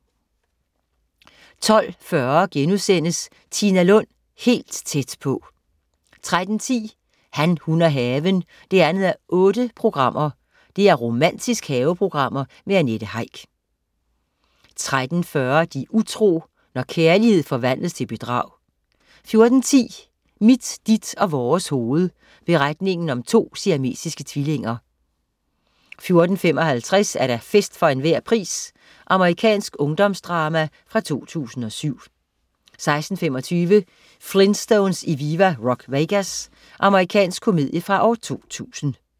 12.40 Tina Lund, helt tæt på 3:4* 13.10 Han, hun og haven 2:8 Romantisk haveprogram med Annette Heick 13.40 De utro. Når kærlighed forvandles til bedrag 14.10 Mit, dit og vores hoved. Beretningen om to siamesiske tvillinger 14.55 Fest for enhver pris. Amerikansk ungdomsdrama fra 2007 16.25 Flintstones i Viva Rock Vegas. Amerikansk komedie fra 2000